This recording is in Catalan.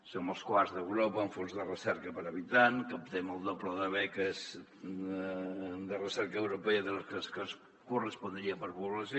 som els quarts d’europa amb fons de recerca per habitant captem el doble de beques de recerca europea de les que ens correspondrien per població